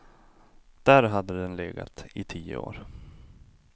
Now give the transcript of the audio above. Där hade den legat i tio år.